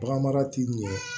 Baganmara t'i ɲɛ